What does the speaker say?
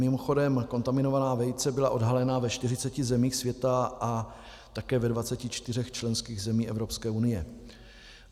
Mimochodem, kontaminovaná vejce byla odhalena ve 40 zemích světa a také ve 24 členských zemích Evropské unie.